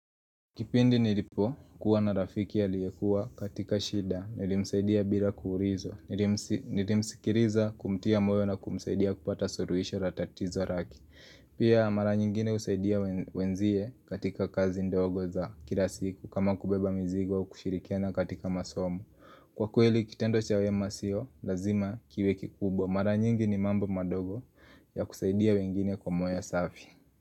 Kipindi nilipokuwa na rafiki aliyekuwa katika shida, nilimsaidia bila kuurizwa, nilimsikiriza kumtia moyo na kumsaidia kupata suruisho ra tatizo raki. Pia mara nyingine usaidia wenzie katika kazi ndogo za kila siku kama kubeba mizigo kushirikiana katika masomo. Kwa kweli kitendo cha wema sio, lazima kiwe kikubwa. Mara nyingi ni mambo madogo ya kusaidia wengine kwa moyo safi.